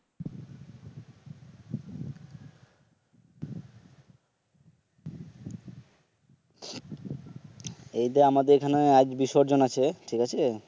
এই যে আমাদের এখানে আজ বিসর্জন আছে ঠিক আছে